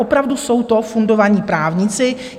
Opravdu jsou to fundovaní právníci.